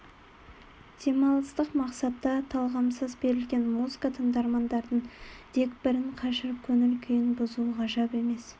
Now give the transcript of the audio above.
демалыстық мақсатта талғамсыз берілген музыка тыңдармандардың дегбірін қашырып көңіл күйін бұзуы ғажап емес